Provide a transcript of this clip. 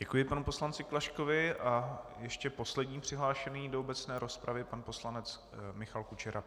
Děkuji panu poslanci Klaškovi a ještě poslední přihlášený do obecné rozpravy pan poslanec Michal Kučera.